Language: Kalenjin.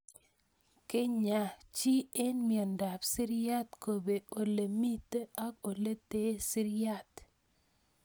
Kenyaa chii eng' miondop siriat kopee ole mito ak oletee siriat